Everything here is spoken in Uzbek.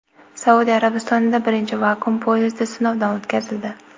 Saudiya Arabistonida birinchi vakuum poyezdi sinovdan o‘tkazildi.